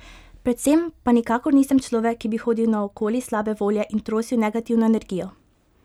Predvsem pa nikakor nisem človek, ki bi hodil naokoli slabe volje in trosil negativno energijo.